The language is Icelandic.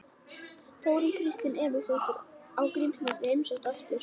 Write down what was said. Þórunn Kristín Emilsdóttir í Grímsnesi heimsótt aftur